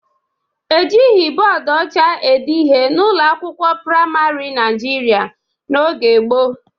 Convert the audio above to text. Ejighị bọọdụ ọcha ede ihe n'ụlọ akwụkwọ praịmarị Naijiria n'oge ochie